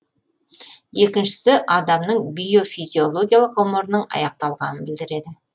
екіншісі адамның биофизиологиялық ғұмырының аяқталғанын білдіреді